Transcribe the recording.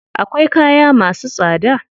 Akwai kaya masu tsada.